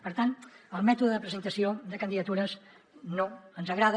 per tant el mètode de presentació de candidatures no ens agrada